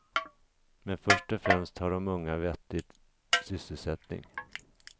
Men först och främst har de unga en vettig sysselsättning.